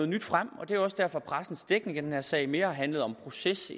nyt frem og det er også derfor at pressens dækning af den her sag mere har handlet om proces